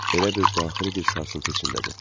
Elə bil daxili bir sarsıntı içindədir.